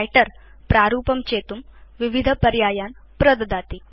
writer प्रारूपं चेतुं विविधपर्यायान् प्रददाति